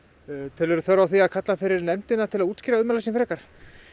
telurðu þörf á því að kalla hann fyrir nefndina til að útskýra ummæli sín frekar